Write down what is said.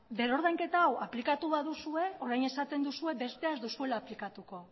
berrordainketa hau aplikatu baduzue orain esaten duzue bestea ez duzuela aplikatuko